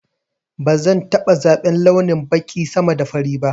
Bazan taɓa zaban launin baƙi sama da fari ba